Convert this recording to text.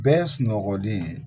Bɛɛ ye sunɔgɔlen ye